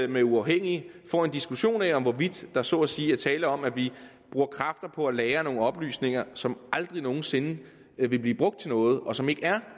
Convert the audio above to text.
med uafhængige får en diskussion af hvorvidt der så at sige er tale om at vi bruger kræfter på at lagre nogle oplysninger som aldrig nogen sinde vil blive brugt til noget og som ikke er